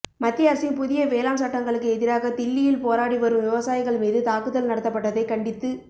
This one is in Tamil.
மத்திய அரசின் புதிய வேளாண் சட்டங்களுக்கு எதிராக தில்லியில் போராடி வரும் விவசாயிகள் மீது தாக்குதல் நடத்தப்பட்டதைக் கண்டித்து